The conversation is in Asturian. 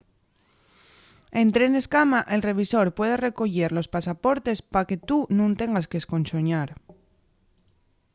en trenes cama el revisor puede recoyer los pasaportes pa que tu nun tengas qu'esconsoñar